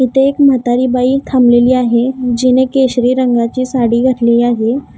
इथे एक म्हातारी बाई थांबलेली आहे जिने केशरी रंगाची साडी घातली आहे.